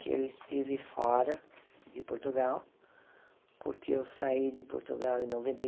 que eu estive fora de Portugal, porque eu saí de Portugal em noventa e